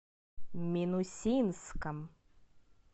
минусинском